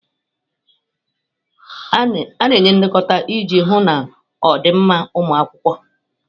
A na-enye nlekọta iji hụ na ọ dị mma ụmụ akwụkwọ